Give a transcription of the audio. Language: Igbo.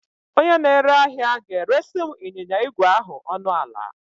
Onye na-ere ahịa ga-eresị m ịnyịnya ígwè ahụ ọnụ ala